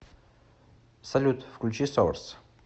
салют включи соларс